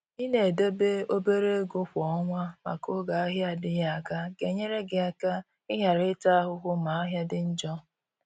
i na edebe obere ego kwa ọnwa maka oge ahịa adịghị aga. ga-enyere gị aka i ghara ịta ahụhụ ma ahịa dị njọ.